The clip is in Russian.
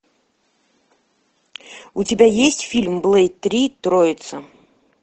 у тебя есть фильм блэйд три троица